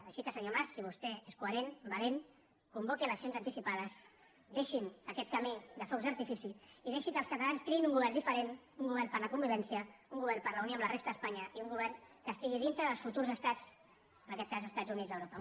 així que senyor mas si vostè és coherent valent convoqui eleccions anticipades deixin aquest camí de focs d’artifici i deixi que els catalans triïn un govern diferent un govern per a la convivència un govern per a la unió amb la resta d’espanya i un govern que estigui dintre dels futurs estats en aquest cas dels estats units d’europa